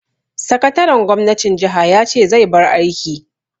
Sakataren gwamnatin jaha ya ce zai bar aiki.